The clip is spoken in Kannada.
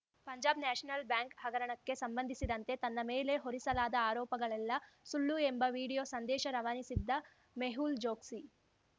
ಪಂಜಾಬ್‌ ನ್ಯಾಷನಲ್‌ ಬ್ಯಾಂಕ್‌ ಹಗರಣಕ್ಕೆ ಸಂಬಂಧಿಸಿದಂತೆ ತನ್ನ ಮೇಲೆ ಹೊರಿಸಲಾದ ಆರೋಪಗಳೆಲ್ಲಾ ಸುಳ್ಳು ಎಂಬ ವಿಡಿಯೋ ಸಂದೇಶ ರವಾನಿಸಿದ್ದ ಮೆಹುಲ್‌ ಚೋಕ್ಸಿ